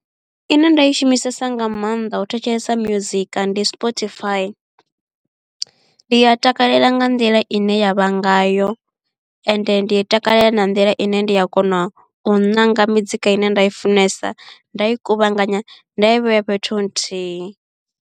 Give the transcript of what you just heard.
Ine nda i shumisesa nga maanḓa u thetshelesa muzika ndi sportify ndi a takalela nga nḓila ine yavha ngayo ende ndi i takalela na nḓila ine ndi a kona u ṋanga mizika ine nda i funesa nda i kuvhanganya nda ya i vhea fhethu nthihi.